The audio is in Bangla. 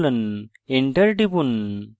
enter টিপুন